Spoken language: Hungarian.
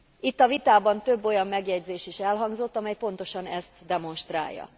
Itt a vitában több olyan megjegyzés is elhangzott, amely pontosan ezt demonstrálja.